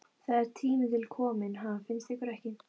Það er tími til kominn, ha, finnst ykkur ekki?